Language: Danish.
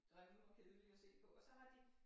Grimme og kedelige at se på og så har de